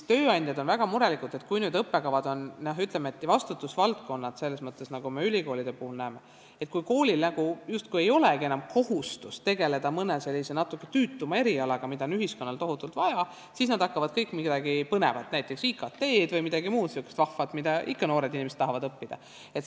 Tööandjad on väga murelikud, et kui nüüd juhtub nii, nagu me ülikoolide puhul näeme, et koolil justkui ei olegi enam kohustust tegeleda mõne natuke tüütuma erialaga, mida on ühiskonnal tohutult vaja, siis nad hakkavad kõik midagi põnevat pakkuma, näiteks IKT-d või midagi muud sihukest vahvat, mida noored inimesed ikka õppida tahavad.